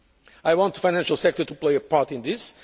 I want the financial sector to play a part in this.